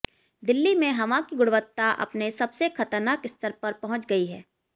दिल्ली में हवा की गुणवत्ता अपने सबसे खतरनाक स्तर पर पहुंच गई है